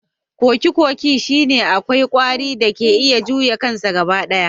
Kokikoki shine kawai kwari da ke iya juya kansa gaba ɗaya